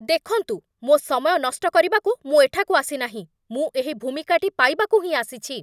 ଦେଖନ୍ତୁ, ମୋ ସମୟ ନଷ୍ଟ କରିବାକୁ ମୁଁ ଏଠାକୁ ଆସିନାହିଁ। ମୁଁ ଏହି ଭୂମିକାଟି ପାଇବାକୁ ହିଁ ଆସିଛି।